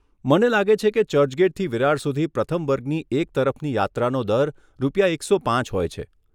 મને લાગે છે કે ચર્ચગેટથી વિરાર સુધી પ્રથમ વર્ગની એક તરફની યાત્રાનો દર રૂપિયા એકસો પાંચ હોય છે.